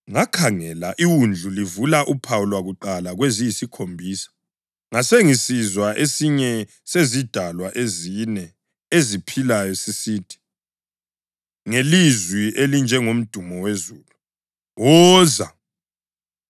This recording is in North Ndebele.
Ngakhangela iWundlu livula uphawu lwakuqala kweziyisikhombisa. Ngasengisizwa esinye sezidalwa ezine eziphilayo sisithi, ngelizwi elinjengomdumo wezulu, “Woza!”